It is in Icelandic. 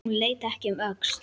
Hún leit ekki um öxl.